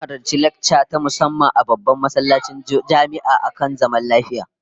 Mun halarci lacca ta musamman a babban masallacin jami'a akan zaman lafiya